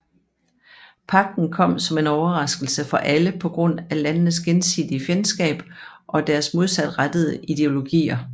Pagten kom som en overraskelse for alle på grund af landenes gensidige fjendskab og deres modsatrettede ideologier